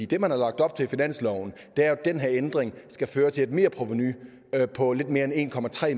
det man har lagt op til i finansloven er at den her ændring skal føre til et merprovenu på lidt mere end en